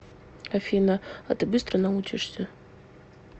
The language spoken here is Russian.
афина а ты быстро научишься